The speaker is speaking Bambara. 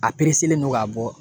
A don k'a bɔ